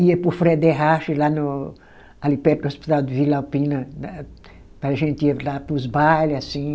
Ia para o Frederrache, lá no ali perto do Hospital de Vila Alpina, para a gente ir lá para os bailes, assim.